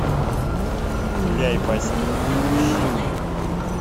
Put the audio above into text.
гуляй вася ищи